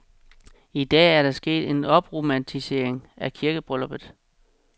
I dag er der sket en opromantisering af kirkebrylluppet.